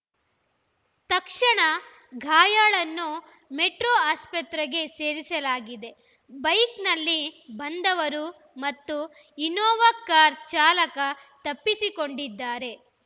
ತಕ್ಷಣ ಗಾಯಾಳನ್ನು ಮೆಟ್ರೋ ಆಸ್ಪತ್ರೆಗೆ ಸೇರಿಸಲಾಗಿದೆ ಬೈಕ್‌ನಲ್ಲಿ ಬಂದವರು ಮತ್ತು ಇನ್ನೋವಾ ಕಾರು ಚಾಲಕ ತಪ್ಪಿಸಿಕೊಂಡಿದ್ದಾರೆ